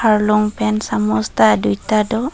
harlung pen samus ta duita do.